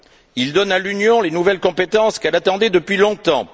Il donne à l'Union les nouvelles compétences qu'elle attendait depuis longtemps.